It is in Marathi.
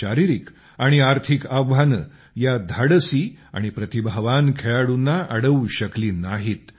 शारीरिक आणि आर्थिक आव्हाने या धाडसी आणि प्रतिभावान खेळाडूंना अडवू शकली नाहीत